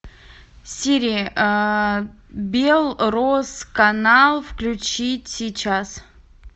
сири белрос канал включить сейчас